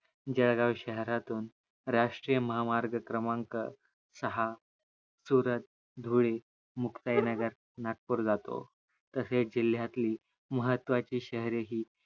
जळगाव शहरातून राष्टीय महामार्ग क्रमांक सहा सुरत, धुळे, मुक्ताई नगर, नागपूर जातो तसेच जिल्ह्यातली महत्वाचे शहरे हे